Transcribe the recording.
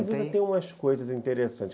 umas coisas interessantes.